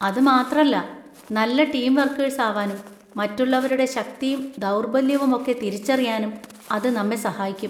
അത് മാത്രല്ല, നല്ല ടീം വർക്കേഴ്‌സ് ആവാനും മറ്റുള്ളവരുടെ ശക്തിയും ദൗർബല്യവും ഒക്കെ തിരിച്ചറിയാനും അത് നമ്മെ സഹായിക്കും.